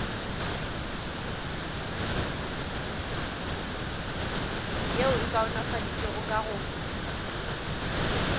yeo e kaonafaditšwego ka go